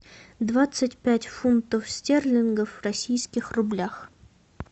двадцать пять фунтов стерлингов в российских рублях